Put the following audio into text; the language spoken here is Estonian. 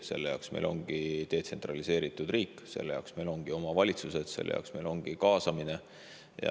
Selle jaoks meil ongi detsentraliseeritud riik, selle jaoks meil ongi omavalitsused, selle jaoks meil ongi kaasamine.